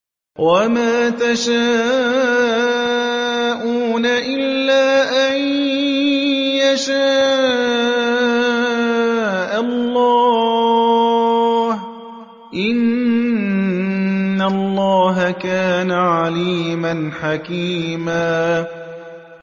وَمَا تَشَاءُونَ إِلَّا أَن يَشَاءَ اللَّهُ ۚ إِنَّ اللَّهَ كَانَ عَلِيمًا حَكِيمًا